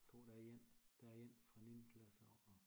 Tror der er én der er én fra niende klasse af